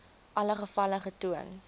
alle gevalle getoon